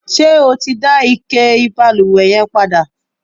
ṣé o ti dá ike ìbalùwẹ̀ yẹn padà?